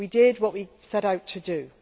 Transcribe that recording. We did what we set out to do.